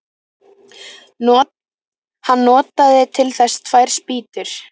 Hann notaði til þess tvær spýtur.